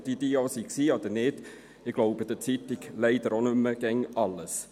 Ob denn diese wirklich passierten oder nicht – ich glaube der Zeitung leider auch nicht mehr immer alles.